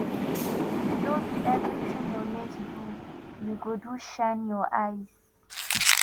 no be everytin your mates do you go do shine your eyes